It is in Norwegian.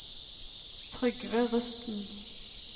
Trygve Rusten